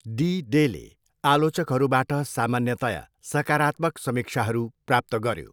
D डेले आलोचकहरूबाट सामान्यतया सकारात्मक समीक्षाहरू प्राप्त गऱ्यो।